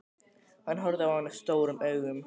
Hann horfði á hana stórum augum.